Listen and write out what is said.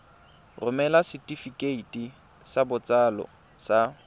romela setefikeiti sa botsalo sa